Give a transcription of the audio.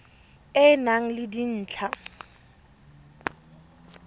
e e nang le dintlha